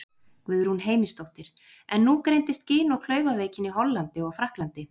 Guðrún Heimisdóttir: En nú greindist gin- og klaufaveikin í Hollandi og Frakklandi?